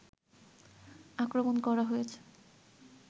আক্রমণ করা হয়েছে